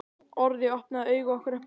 Orðið opnaði augu okkar upp á gátt.